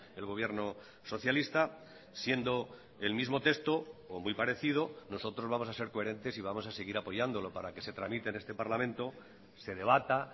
el gobierno socialista siendo el mismo texto o muy parecido nosotros vamos a ser coherentes y vamos a seguir apoyándolo para que se tramite en este parlamento se debata